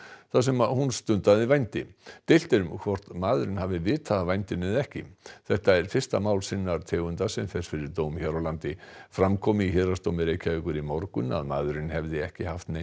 þar sem hún stundaði vændi deilt er um hvort maðurinn hafi vitað af vændinu eða ekki þetta er fyrsta mál sinnar tegundar sem fer fyrir dóm hér á landi fram kom í Héraðsdómi Reykjavíkur í morgun að maðurinn hefði ekki haft neinar